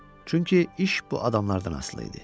Çünki iş bu adamlardan asılı idi.